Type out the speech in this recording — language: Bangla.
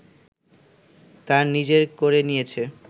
তার নিজের করে নিয়েছে